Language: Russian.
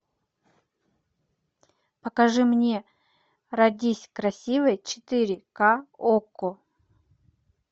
покажи мне родись красивой четыре ка окко